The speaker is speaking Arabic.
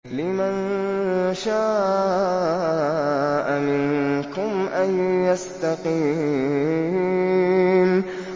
لِمَن شَاءَ مِنكُمْ أَن يَسْتَقِيمَ